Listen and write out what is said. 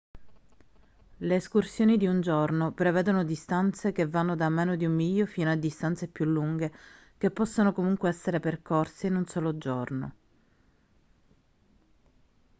le escursioni di un giorno prevedono distanze che vanno da meno di un miglio fino a distanze più lunghe che possono comunque essere percorse in un solo giorno